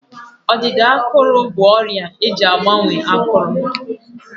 Ọdịda ákụ̀rụ̀ bụ ọrịa eji agbanwe ákụ̀rụ̀.